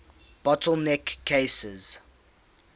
bottle neck cases